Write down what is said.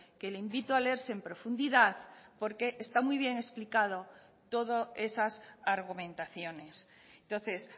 que le invito a leerse en profundidad porque está muy bien explicado todo esas argumentaciones entonces